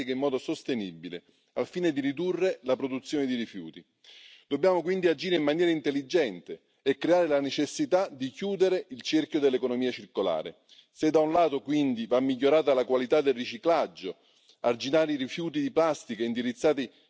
de nos océans des poubelles. Si nous ne faisons rien, il ne faudra plus demain parler de septième continent plastique, mais d'une planète plastique. C'est pourquoi il faut des mesures ambitieuses, des mesures radicales.